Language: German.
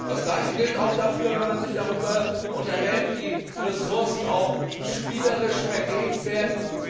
Das Gleiche gilt auch dafür, wenn man sich darüber unterhält, wie Ressourcen spielerisch vergeben werden.